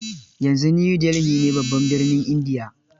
Yanzu New Delhi ne babban birnin India.